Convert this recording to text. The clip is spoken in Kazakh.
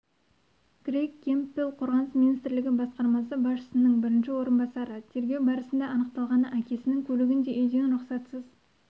крейг кэмпбелл қорғаныс министрлігі басқармасы басшысының бірінші орынбасары тергеу барысында анықталғаны әкесінің көлігін де үйден рұқсатсыз